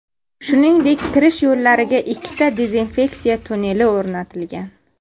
Shuningdek, kirish yo‘llariga ikkita dezinfeksiya tunneli o‘rnatilgan.